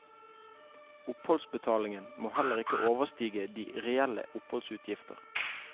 Oppholdsbetalingen må heller ikke overstige de reelle oppholdsutgifter.